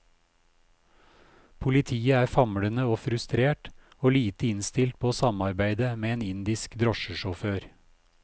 Politiet er famlende og frustrert, og lite innstilt på å samarbeide med en indisk drosjesjåfør.